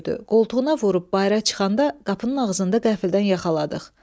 Qoltuğuna vurub bayıra çıxanda qapının ağzında qəfildən yaxaladıq.